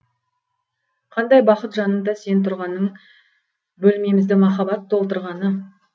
қандай бақыт жанымда сен тұрғаның бөлмемізді махаббат толтырғаны